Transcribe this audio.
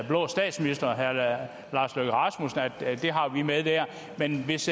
blå statsminister herre lars løkke rasmussen at det har vi med der men hvis